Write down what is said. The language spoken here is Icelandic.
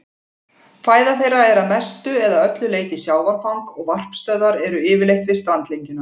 Fæða þeirra er að mestu eða öllu leyti sjávarfang og varpstöðvar eru yfirleitt við strandlengjuna.